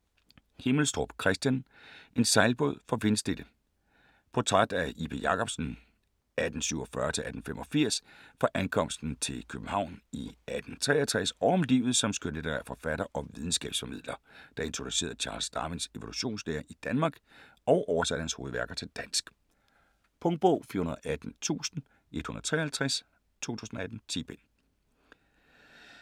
Himmelstrup, Kristian: En sejlbåd for vindstille Portræt af J. P. Jacobsen (1847-1885) fra ankomsten til København i 1863 og om livet som skønlitterær forfatter og videnskabsformidler, der introducerede Charles Darwins evolutionslære i Danmark og oversatte hans hovedværker til dansk. Punktbog 418153 2018. 10 bind.